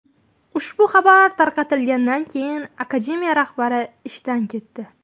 Ushbu xabar tarqalganidan keyin akademiya rahbari ishdan ketdi.